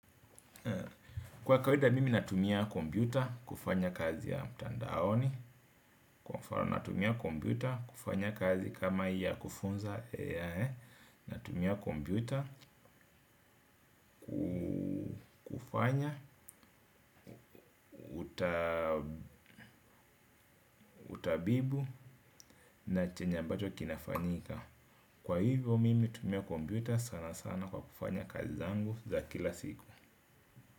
Kwa kawida mimi natumia kompyuta kufanya kazi ya mtandaoni. Kwa hivyo mimi tumia kompyuta kufanya kazi kama ya kufunza. Natumia kompyuta kufanya utabibu na chenye ambacho kinafanyika. Kwa hivyo mimi utumia kompyuta sana sana kwa kufanya kazi zangu za kila siku.